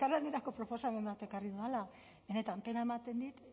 elkarlanerako proposamen bat ekarri dudala benetan pena ematen dit